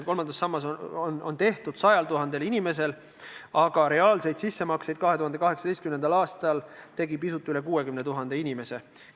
Kolmas sammas on tehtud 100 000 inimesel, aga reaalseid sissemakseid tegi 2018. aastal pisut üle 60 000 inimese.